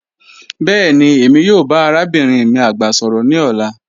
Bẹẹni Emi yoo ba arabinrin mi agba sọrọ ni ọla